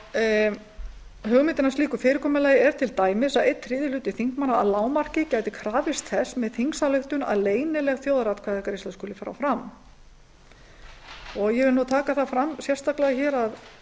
ein hugmynd að slíku fyrirkomulagi er til dæmis að einn þriðji hluti þingmanna að lágmarki gæti krafist þess með þingsályktun að leynileg þjóðaratkvæðagreiðsla skuli fara fram ég vil taka það sérstaklega fram að